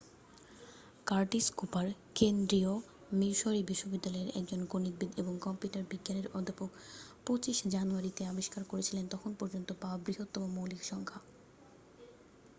Curtis Cooper কেন্দ্রীয় Missouri বিশ্ববিদ্যালয়ের একজন গণিতবিদ এবং কম্পিউটার বিজ্ঞানের অধ্যাপক 25 জানুয়ারিতে আবিষ্কার করেছিলেন তখন পর্যন্ত পাওয়া বৃহত্তম মৌলিক সংখ্যা